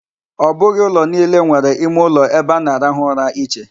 Ọ bụghị ụlọ niile nwere ime uloebe a na-arahụ ụra iche.